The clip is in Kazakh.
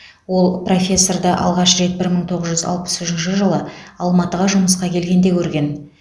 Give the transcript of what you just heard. ол профессорды алғаш рет бір мың тоғыз жүз алпыс үшінші жылы алматыға жұмысқа келгенде көрген